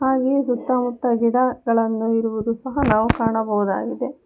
ಹಾಗೆಯೇ ಸುತ್ತಮುತ್ತ ಗಿಡ ಗಳನ್ನು ಇರುವುದು ಸಹ ನಾವು ಕಾಣಬಹುದಾಗಿದೆ.